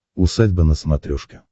усадьба на смотрешке